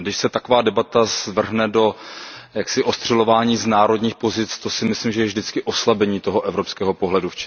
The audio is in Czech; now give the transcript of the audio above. A když se taková debata zvrhne do ostřelování z národních pozic, to si myslím, je vždycky oslabení toho evropského pohledu.